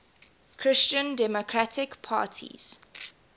christian democratic parties